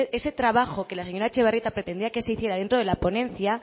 ese trabajo que la señora etxebarrieta pretendía que se hiciera dentro de la ponencia